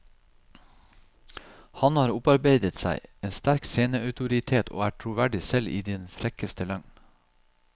Han har opparbeidet seg en sterk sceneautoritet og er troverdig selv i den frekkeste løgn.